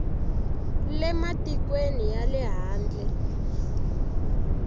le matikweni ya le handle